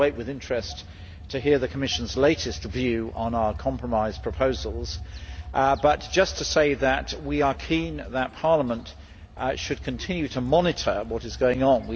I await with interest the Commission's latest view on our compromise proposals, but I would just like to say that we are keen that Parliament should continue to monitor what is going on.